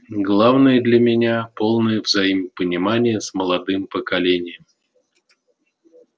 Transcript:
главное для меня полное взаимопонимание с молодым поколением